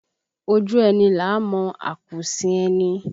Ojú ẹni là á mọ akuusin ẹni